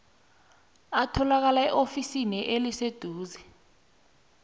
atholakala eofisini eliseduze